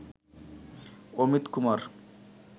Amit Kumar